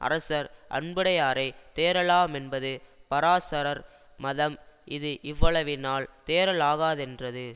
அரசர் அன்புடையாரை தேறலாமென்பது பராசரர் மதம் இது இவ்வளவினால் தேறலாகாதென்றது